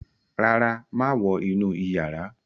ràrá máa wọ inú iyàrá.